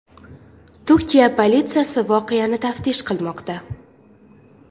Turkiya politsiyasi voqeani taftish qilmoqda.